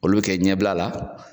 Olu bi kɛ ɲɛbila la